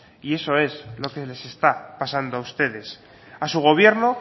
y eso es lo que les está pasando a ustedes a su gobierno